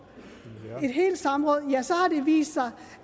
i et helt samråd ja så har det vist sig